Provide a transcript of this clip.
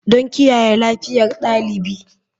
Don kiyaye lafiyar ɗalibi.